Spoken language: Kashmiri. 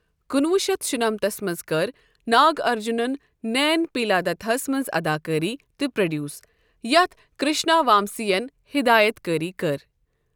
کُنہٕ وُہ شتھ شُنمتس منٛز کٔر ناگ ارجنن نین پیلادتا ہَس منٛز اداکٲری تہٕ پروڈیوس یتھ کرشنا وامسی یَن ہدایت کٲری کٔر۔